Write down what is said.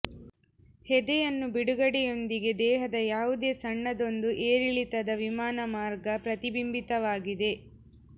ಹೆದೆಯನ್ನು ಬಿಡುಗಡೆಯೊಂದಿಗೆ ದೇಹದ ಯಾವುದೇ ಸಣ್ಣದೊಂದು ಏರಿಳಿತದ ವಿಮಾನ ಮಾರ್ಗ ಪ್ರತಿಬಿಂಬಿತವಾಗಿದೆ